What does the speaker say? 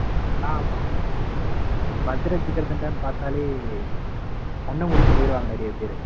ஆமா மதுர ஜிகர்தண்டா பாத்தாலே கண்ணமூடிட்டு போயிருவாங்க நிறைய பேரு.